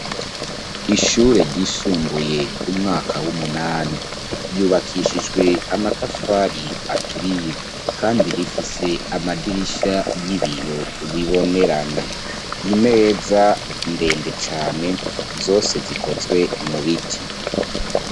Ishure ryisumbuye umwaka w'umunani ryubakishijwe amatafari aturiye, kandi rifise amadirisha y'ibiyo bibonerana imeza ndende cane zose zikozwe mu biti.